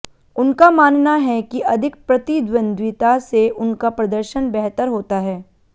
उनका मानना है कि अधिक प्रतिद्वंद्विता से उनका प्रदर्शन बेहतर होता है